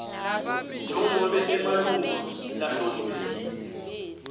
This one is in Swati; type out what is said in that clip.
njengobe emalunga lahloniphekile